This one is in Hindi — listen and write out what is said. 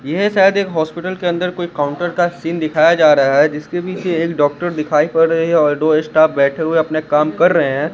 ये शायद एक हॉस्पिटल के अंदर कोई काउंटर का सीन दिखाया जा रहा है जिसके पीछे एक डॉक्टर दिखाई पड़ रही है और दो स्टॉफ बैठे हुए अपने काम कर रहे हैं।